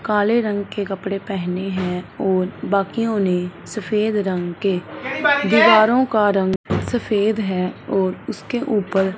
काले रंग के कपड़े पहने हैं और बाकियों ने सफेद रंग के दीवारों का रंग सफेद है और उसके ऊपर--